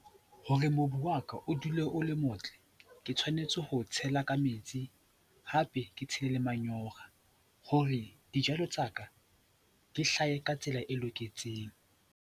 Hore mobu wa ka o dule o le motle, ke tshwanetse ho o tshela ka metsi, hape ke tshele le manyora hore dijalo tsa ka di hlahe ka tsela e loketseng.